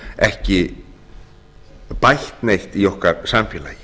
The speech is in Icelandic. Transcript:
ekki bætt neitt í okkar samfélagi